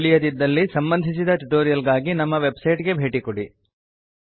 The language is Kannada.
ತಿಳಿಯದಿದ್ದಲ್ಲಿ ಸಂಬಂಧಿಸಿದ ಟ್ಯುಟೋರಿಯಲ್ ಗಾಗಿ ನಮ್ಮ ವೆಬ್ಸೈಟ್ ಗೆ ಭೇಟಿಕೊಡಿ